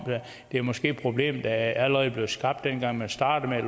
det er måske et problem der allerede blev skabt dengang man startede